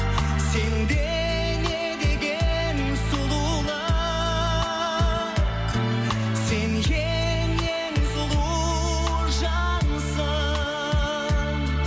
сенде не деген сұлулық сен ең ең сұлу жансың